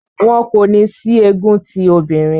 Wọn kò ní sí egun ti òbinrín.